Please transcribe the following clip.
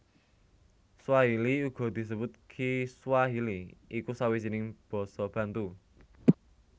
Swahili uga disebut Kiswahili iku sawijining basa Bantu